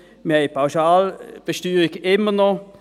Wir haben die Pauschalbesteuerung immer noch.